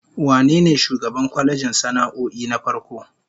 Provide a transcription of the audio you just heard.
Wane ne shugaban kwalejin sana'o'in na farko?